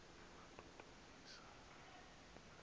wadudumisa